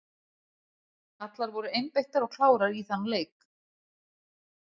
Allar voru einbeittar og klárar í þann leik.